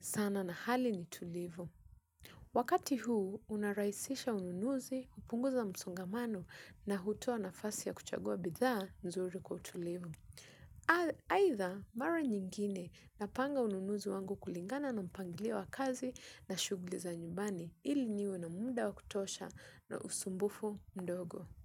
sana na hali ni tulivu. Wakati huu unaraisisha ununuzi, upunguza msongamano na hutua na fasi ya kuchagua bidhaa nzuri kwa tulivu. Aitha mara nyingine napanga ununuzi wangu kulingana na mpanglio wa kazi na shuguli za nyumbani ili niwe na munda wa kutosha na usumbufu ndogo.